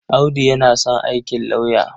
Audu yana son aikin lauya.